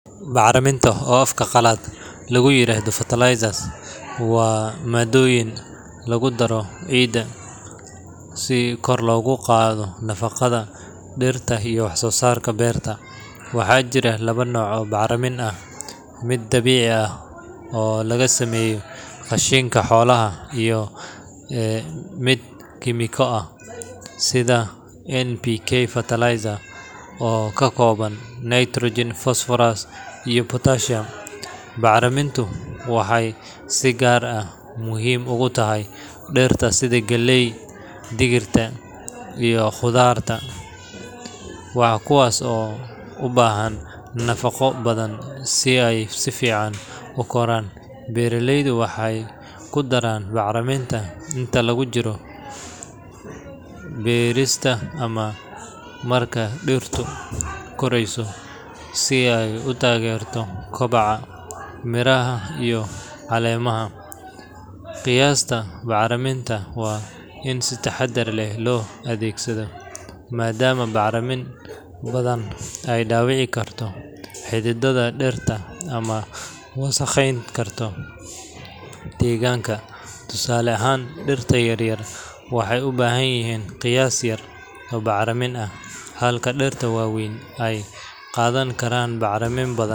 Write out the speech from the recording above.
Bacriminta, oo afka qalaad lagu yiraahdo fertilizers, waa maaddooyin lagu daro ciidda si kor loogu qaado nafaqada dhirta iyo wax-soosaarka beerta. Waxaa jira laba nooc oo bacrimin ah: mid dabiici ah oo laga sameeyo qashinka xoolaha iyo dhirta, iyo mid kiimiko ah sida NPK fertilizer oo ka kooban, nitrogen, phosphorus iyo potassium. Bacrimintu waxay si gaar ah muhiim ugu tahay dhirta sida galeyda, digirta, iyo khudradda, kuwaas oo u baahan nafaqo badan si ay si fiican u koraan. Beeraleydu waxay ku daraan bacriminta inta lagu guda jiro beerista ama markay dhirtu korayso si ay u taageerto kobaca, midhaha, iyo caleemaha. Qiyaasta bacriminta waa in si taxaddar leh loo adeegsadaa, maadaama bacrimin badan ay dhaawici karto xididdada dhirta ama wasakheyn karto deegaanka. Tusaale ahaan, dhirta yar yar waxay u baahan yihiin qiyaas yar oo bacrimin ah, halka dhirta waaweyn ay qaadan karaan bacrimin ka badan.